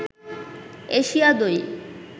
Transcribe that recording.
Asia দই